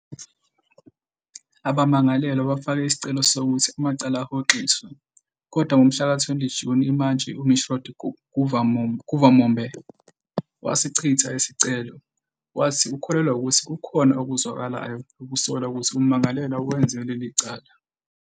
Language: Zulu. Abamangalelwa bafake isicelo sokuthi amacala ahoxiswe, kodwa ngomhlaka-20 Juni imantshi uMishrod Guvamombe wasichitha lesi sicelo, wathi ukholelwa ukuthi kukhona "okuzwakalayo ukusola ukuthi ummangalelwa wenze leli cala".